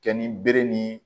Kɛ ni bere ni